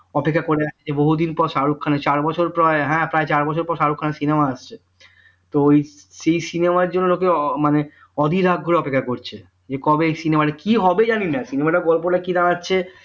অপেক্ষা করে আছে বহুদিন পর শাহরুখ খানের চার বছর পর হ্যাঁ প্রায় চার বছর পর শাহরুখ খানের cinema আসছে তো সেই cinema জন্য লোকে মানে অধীর আগ্রহে অপেক্ষা করছে যে কবে এই cinema মানে কি হবে জানিনা cinema গল্পটা কি দাঁড়াচ্ছে